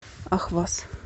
ахваз